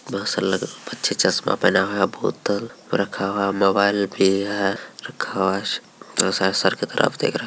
बहुत सारे लग बच्चे चश्मा पहना हुआ है बोतल रखा हुआ है और मोबाइल भी है रखा हुआ है और सारे सर की तरफ देख रहे हैं ।